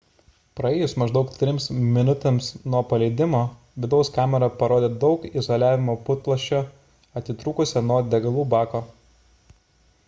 praėjus maždaug 3 minutėms nuo paleidimo vidaus kamera parodė daug izoliavimo putplasčio atitrūkusio nuo degalų bako